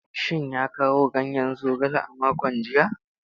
Shin ya kawo ganyen zogale a makon jiya?